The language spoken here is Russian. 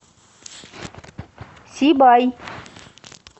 сибай